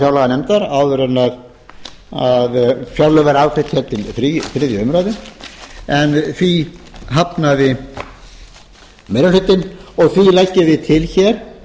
fjárlaganefndar áður en fjárlög verða afgreidd hér til þriðju umræðu en því hafnaði meiri hlutinn því leggjum við til hér